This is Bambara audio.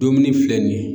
Dumuni filɛ nin ye